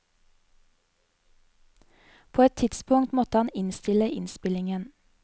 På et tidspunkt måtte han innstille innspillingen.